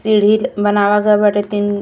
सीढ़ी-ल् बनावा गए बाटे। तीन --